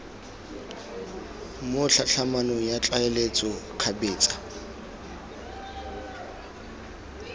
mo tlhatlhamanong ya tlaleletso kgabetsa